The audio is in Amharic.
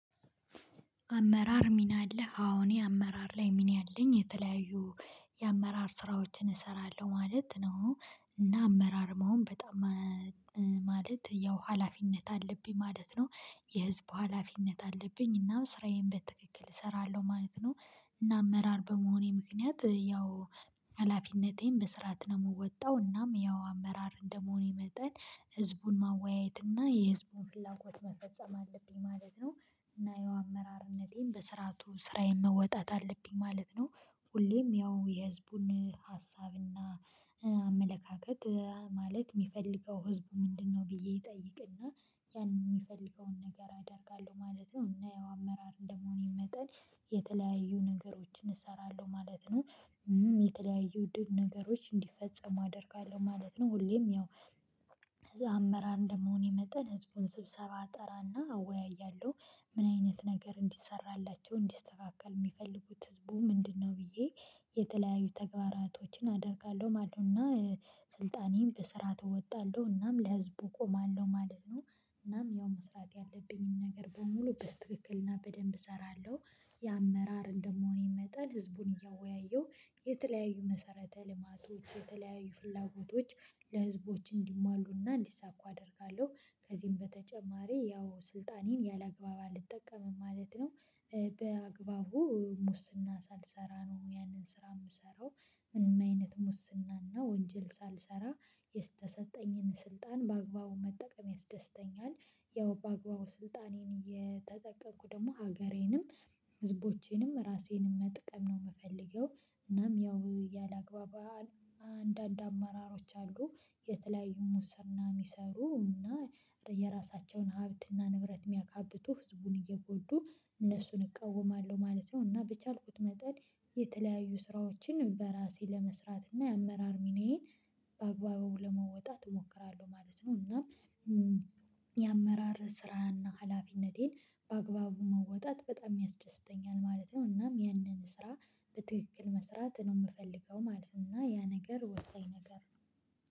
አመራር ሚና አለ። እኔ አመራር ላይ ሚና አለኝ፣ የተለያዩ የአመራር ስራዎችን እሰራለሁ ማለት ነው። እና አመራር መሆን በጣም እ ማለት ያው ሀላፊነት አለብኝ ማለት ነው። የህዝብ ሀላፊነት አለብኝ እና ስራዬን በትክክል እሰራለሁ ማለት ነው። እና አመራር በመሆኔ ምክንያት ያው ኃላፊነቴን በስርዓት ነው የምወጣው፣ እናም ያው አመራር እንደመሆኔ መጠን ሕዝቡን ማወያየት እና የሕዝቡን ፍላጎት መፈጸም አለብኝ ማለት ነው። እና የአመራርነቴን በሥርዓቱ ስራዬን መወጣት አለብኝ ማለት ነው። ሁሌም ያው የሕዝቡን ሐሳብና አመለካከት፣ ማለት የሚፈልገው ሕዝቡ ምንድነው ብዬ እጠይቅና ያንን የሚፈልገውን ነገር አደርጋለሁ ማለት ነው፣ እና ያው አመራር እንደመሆኔ መጠን የተለያዩ ነገሮችን እሰራለሁ ማለት ነው። የተለያዩ ያሉ ነገሮች እንዲፈጸሙ አደርጋለሁ ማለት ነው፣ ሁሌም ያው ከዛ አመራር እንደመሆኔ መጠን ሕዝቡን ስብሰባ እጠራና አወያያለሁ። ምን አይነት ነገር እንዲሠራላቸው፣ እንዲስተካከል የሚፈልጉት ሕዝቡ ምንድነው ብዬ የተለያዩ ተግባራቶችን አደርጋለሁ ማለት ነው። እና ሥልጣኔን በስራ እወጣለሁ፣ እናም ለህዝቡ እቆማለሁ ማለት ነው። እናም ያው መስራት ያለብኝን ነገር በሙሉ በትክክልና በደንብ እሰራለሁ። የአመራር እንደመሆኔ መጠን ሕዝቡን እያወያየሁ፣ የተለያዩ መሰረተ ልማቶችና የተለያዩ ፍላጎቶች ለህዝቡ እንዲሟሉና እንዲሳኩ አደርጋለሁ። ከዚህም በተጨማሪ ያው ሥልጣኔን አላግባብ አልጠቀምም ማለት ነው፣ ኤ በአግባቡ ሙስና ሳልሠራ ነው ያንን ስራ የምሰራው። ምንም አይነት ሙስናና ወንጀል ሳልሠራ፣ የተሰጠኝን ሥልጣን በአግባቡ መጠቀም ያስደስተኛል። ያው በአግባቡ ሥልጣኔን እየተጠቀምኩ ደግሞ ሀገሬንም ሕዝቦቼንም ራሴንም መጥቀም ነው የምፈልገው። እናም ያላግባብ አንዳንድ አመራሮች አሉ፤ የተለያዩ ሙስና ምናምን ይሠሩ እና የራሳቸውን ሀብትና ንብረት የሚያካብቱ፣ ሕዝቡን እየጎዱ። እነሱን እቃወማለሁ ማለት ነው፣ እና በቻልኩት መጠን የተለያዩ ስራዎችን በራሴ ለመስራት እና የአመራር ሚናዬን በአግባቡ ለመወጣት እሞክራለሁ ማለት ነው እና እም የአመራር ስራና ኃላፊነቴን በአግባቡ መወጣት በጣም ያስደስተኛል ማለት ነው። እናም ያንን ስራ በትክክል መስራት ነው የምፈልገው ማለት ነው። እና ያ ነገር ወሳኝ ነገር